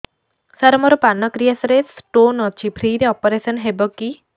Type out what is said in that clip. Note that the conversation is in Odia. ସାର ମୋର ପାନକ୍ରିଆସ ରେ ସ୍ଟୋନ ଅଛି ଫ୍ରି ରେ ଅପେରସନ ହେବ କି